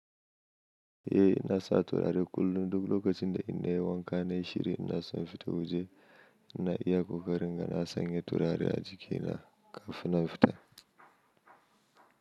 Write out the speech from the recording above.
Eh ina sa turare kullum duk lokacin da inna yiwanka na yi shiri inna son in fita waje, inna iya kokari inga na sanya turare a jikina kafin nan in fita.